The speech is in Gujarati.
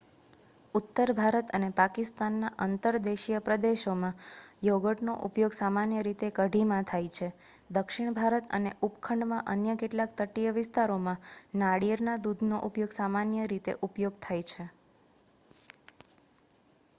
ઉત્તર ભારત અને પાકિસ્તાનના અંતરદેશીય પ્રદેશોમાં યોગર્ટનો ઉપયોગ સામાન્ય રીતે કઢીમાં થાય છે દક્ષિણ ભારત અને ઉપખંડમાં અન્ય કેટલાક તટીય વિસ્તારોમાં નારિયેળના દૂધનો સામાન્ય રીતે ઉપયોગ થાય છે